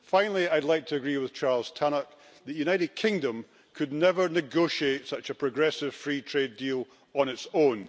Finally, I'd like to agree with Charles Tannock that the United Kingdom could never negotiate such a progressive free trade deal on its own.